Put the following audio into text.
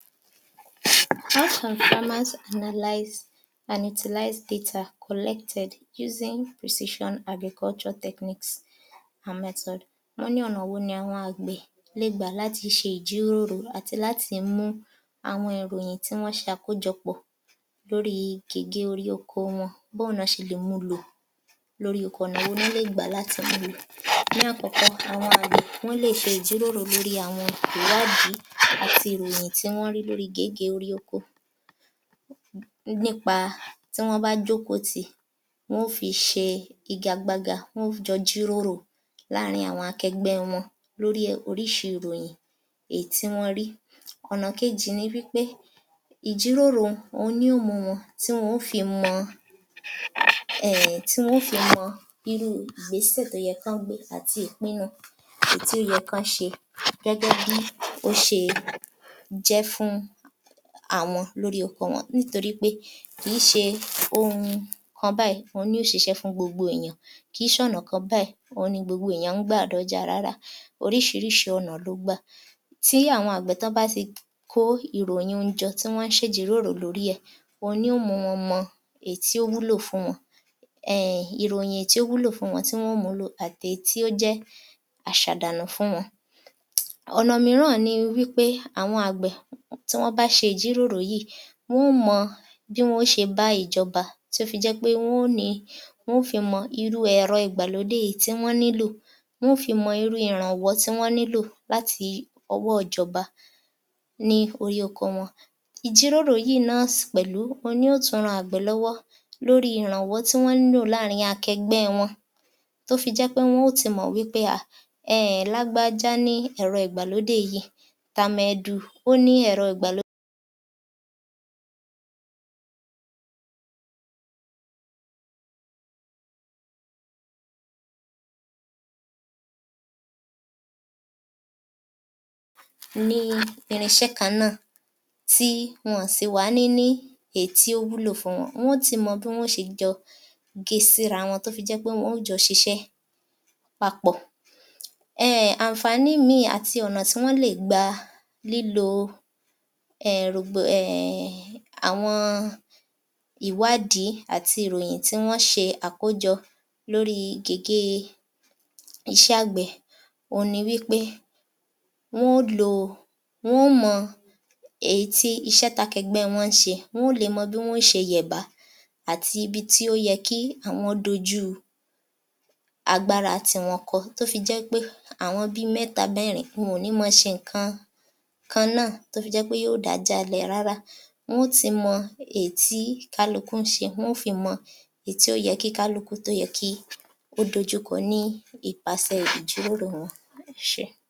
How can farmers analyze and utilize data collected using precision as a culture techniques wọ́n ní ọ̀nà wo ní àwọn àgbẹ̀ lẹ ẹ gbà lári ṣe ìjíróórò àti làti mí mu àwọn ìròyìn tí wọ́n se àkójọpọ̀ lóri gèégèé orí oko ọ wọn bó ní wọ́n ṣe lè mú ú lò ò lóri ọ̀nà wo lọ́lè gbà làti mú u lò. ní àkọ́kọ́ àwọn àgbè wọ́n lé è ṣe e ìjíròrò lórí àwọn ìwádìí àti àwọn ìròyìn tí wọn rí lóri gèégèé orí ọ̀kọ̀ nípa rí wọ́n bá jóókò tìí wọn ó fi ṣe igagbága won ó jọ jíróròó láàríń àwọn akegbẹ́ wọn lórí orísi ìròyìn tí wọn rí. ọ̀nà kejí ni nípé ìjíròrò òun ni ó ò mú wọn tí wọn ó ó fi i er tí wọn ó ó fi i mọ ọ ìgbésè tí ó ye kọ́ ọ́ gbé àti ìpínu èyítí ó ye kọ́ ṣe gẹ́gẹ́ bí ó ṣe jẹ́ fún àwọn lóri ọkọ̀ wọn. nítorí pé kìí ṣe oun kan báí ni ó ṣiṣé fún gbogbo ènìyàn kìí ṣe ọ̀nà kan báyìí òun ní gbogbo ènìyan gbá à dé ọ̀jà ráárá oríṣiríṣi ọ̀nà ló ó gbà tí àwọn àgbè tí wọ́n bá ti ko ìrọyìn ọ̀un jọ ọ tí wọ́n ún ṣe ìjíróró lórí ẹ̀ ẹ́ èyí ni ó mú wọn mọ ọ èyítí ó ò wúlò fún wọn err ìròyìn tí ò wúlò fún wọn àti èyí tí ójẹ́ àṣàdàànù fún wọn. ọ̀nà mííràn nipé àwọn àgbè tí wọ́n bá ṣé ìjíròrò yìí wọn ó mọ̀ ọ́ bi wọ́n o ó ṣe bá á ìjọba tí ó jẹ pé wọn ó nìí wọn ó fi i mó ó irú ẹ̀rọ ìgbàlódé èyí tí wọ́n ní lò wọn ó fi mọ́ ọ́ irú ìràwón tí wọ́n nílò láti ọwọ́ ìjọba ní orí oko wọn. ìjírórò náà pẹ̀lú ni ó tun ran àwọn àgbẹ̀ lọ́wọ́ lóri ìrànwọ́ rí wọ́n ní lò láàrín àwọn akégbé wọn tó fi jẹ́ ẹ́ pé wọn ó ti i mọ̀ pé è è lágbájá ní ẹ̀rọ ìgbàlódé yìí tàmẹ̀dù ní ẹ̀rọ igbàlódé ní irinṣẹ́ kan náà tí wọn ò wa à ní ní èyí tí ó wúlò fún wọn. wọn ó tì wọn bi wọ́n ṣe ge sí irawọn tó o fí jé pé wọn ó jọ́ ọ́ ṣiṣé papọ̀ àǹfànní ìmìí àti ọ̀nà ti wọn lè è gbà err àwọn ìwádìí àti ìròyìn tí wọ́n ṣe tí wọ́n ṣe àkójọ lórí gèègee iṣé àgbè oun nípé wọn ó ṣe e wọn o mọ́ ọ́ éyítí iṣé tí akẹ́gbẹ́ wọ́n ń ṣe wọn ó mo o bí wọn ọ́ ṣe yèbá àti ibi tí ó óyẹ kí wọ́n kojú àwọn agbára ko o tó o fí jẹ́ wípé àwọn bí i mẹ́ta mẹ́rin wọ́n ò ní ma a ṣe ǹńkan kan náà tó fi jẹ́ wípé yi ó dà á ìjà lẹ́ ẹ̀ rárá wọn ó tì mọ́ ọ́ èyí tí kálukú ńṣe wọn ó fí í mọ ọ èyí tí o yẹ kí kálukú tó ye kí ó dojú kọ ọ nípasè ìjíròrò wọn